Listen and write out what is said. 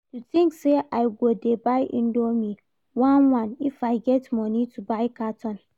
You think say I go dey buy indomie one one if I get money to buy carton?